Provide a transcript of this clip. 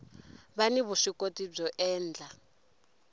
va ni vuswikoti byo endla